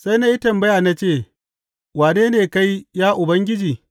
Sai na yi tambaya na ce, Wane ne kai, ya Ubangiji?’